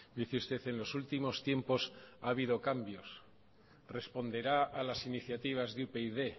dice usted en los últimos tiempos ha habido cambios responderá a las iniciativas de upyd